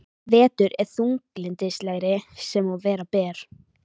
Vetur er þunglyndislegri sem og vera ber.